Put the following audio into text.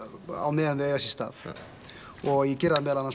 meðan þau eiga sér stað og ég geri það meðal annars